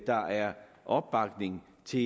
der er opbakning til